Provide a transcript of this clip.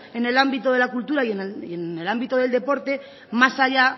en el ámbito de la cultura y en el ámbito del deporte más allá